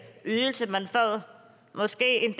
ydelse man får måske en